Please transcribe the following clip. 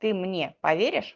ты мне поверишь